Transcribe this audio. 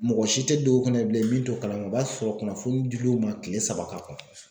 Mɔgɔ si tɛ don o kunna bilen min t'o kalama , o b'a sɔrɔ kunnafoni di l'u ma kile saba ka ban.